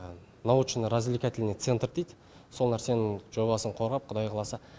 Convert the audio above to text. научно развлекательный центр дейді сол нәрсенің жобасын қорғап құдай қаласа